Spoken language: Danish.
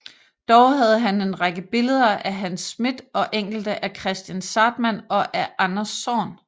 Dog havde han en række billeder af Hans Smidth og enkelte af Kristian Zahrtmann og af Anders Zorn